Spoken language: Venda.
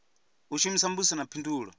u shumisa mbudziso na phindulo